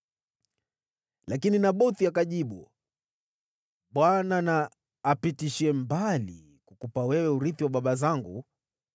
Lakini Nabothi akamjibu, “ Bwana na apishe mbali kukupa wewe urithi wa baba zangu.”